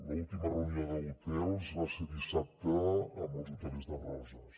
l’última reunió d’hotels va ser dissabte amb els hotelers de roses